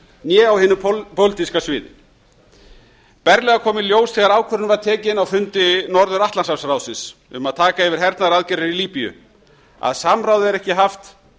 né á hinu pólitíska sviði berlega kom í ljós þegar ákvörðun var tekin á fundi norðuratlantshafsráðsins um að taka yfir hernaðaraðgerðir í líbíu að samráð er ekki haft